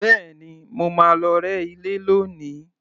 Bẹ́ẹ̀ni, mo máa lọ rẹ́ ilé lónìí